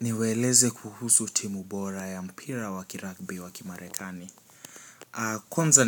Niwaeleze kuhusu timu bora ya mpira wa kirugby wa kimarekani. Kwanza